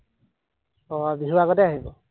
আহ বিহুৰ আগতেই আহিব?